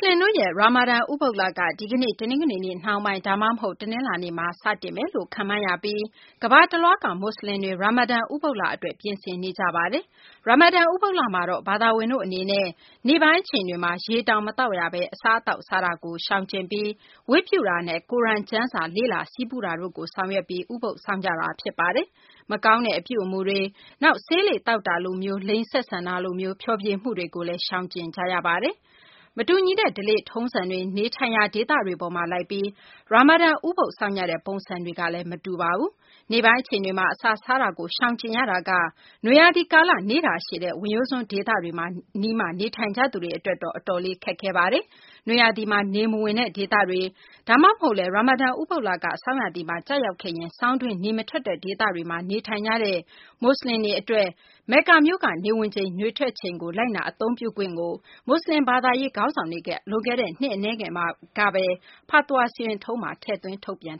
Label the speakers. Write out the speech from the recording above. Speaker 1: လင်တို့ရဲ့ ရာမာဒန် ဥပုသ်လက ဒီကနေ့ တနင်္ဂနွေနေ့ နှောင်းပိုင်း ဒါမှမဟုတ် တနလာၤနေ့မှာ စတင်မယ်လို့ ခန့်မှန်းရပြီး ကမ္ဘာတလွှားက မူဆလင်တွေ ရာမာဒန် ဥပုသ်လ အတွက် ပြင်ဆင်နေကြပါတယ်။ ရာမာဒန် ဥပုသ်လမှာတော့ ဘာသာဝင်တို့ အနေနဲ့ နေ့ပိုင်း အချိန်တွေမှာ ရေတောင် မသောက်ဘဲ အစားအသောက်စားတာကို ရှောင်ကျဉ်ပြီး ဘုရားဝတ်ပြုတာနဲ့ ကိုရမ် ကျမ်းစာ လေ့လာဆည်းပူတာတို့ကို ဆောင်ရွက်ပြီး ဥပုသ်စောင့်ကြတာ ဖြစ်ပါတယ်။ မကောင်းတဲ့ အပြုအမူတွေ နောက် ဆေးလိပ်သောက်တာလိုမျိုး၊ လိင်ဆက်ဆံတာလိုမျိုး ဖျော်ဖြေမှုတွေလည်း ရှောင်ကျဉ်ကြရပါတယ်။ မတူညီတဲ့ ဓလေ့ထုံးစံတွေ၊ နေထိုင်ရာ ဒေသတွေ အပေါ်မှာလိုက်ပြီး ရာမာဒန် ဥပုသ်စောင့်ကြတဲ့ ပုံစံတွေကလည်း မတူကြပါဘူး။ နေ့ပိုင်းအချိန်တွေမှာ အစားစားတာကို ရှောင်ကျဉ်ရတာက နွေရာသီ ကာလ နေ့တာရှည်တဲ့ ဝင်ရိုးစွန်းဒေသတွေ အနီးမှာ နေထိုင်ကြသူတွေ အတွက်တော့ အတော်လေး ခက်ခဲပါတယ်။ နွေရာသီမှာ နေမဝင်တဲ့ ဒေသတွေ ဒါမှမဟုတ်လည်း ရာမာဒန် ဥပုသ်လက ဆောင်းရာသီမှာ ကျရောက်ခဲ့ရင် ဆောင်းတွင်း နေမထွက်တဲ့ ဒေသတွေမှာ နေထိုင်ကြတဲ့ မူဆလင်တွေ အတွက် မက္ကာမြို့က နေဝင်ချိန် နေထွက်ချိန်ကို လိုက်နာအသုံးပြုခွင့်ကို မူဆလင် ဘာသာရေး ခေါင်းဆောင်တွေက လွန်ခဲ့တဲ့ နှစ်အနည်းငယ်ကဘဲFatwa စီရင်ထုံးထဲမှာ ထည့်သွင်း ထုတ်ပြန်